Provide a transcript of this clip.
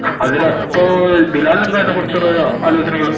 അതിനു ഇപ്പൊ ബിലാലിന് അതിനെക്കുറിച്ച് എന്താ ആലോചനകള്